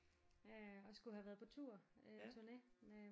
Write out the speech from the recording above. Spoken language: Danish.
Øh og skulle have været på tour tourné med